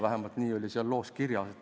Vähemalt nii oli seal loos kirjas.